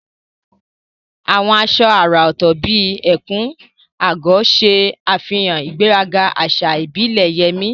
Àwọn aṣọ àrà ọ̀tọ̀ bíi ẹ̀kú/agọ̀ ṣe àfihàn ìgbéraga àṣà ìbílẹ̀ Yemi